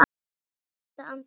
AÐ HALDA ANDLITI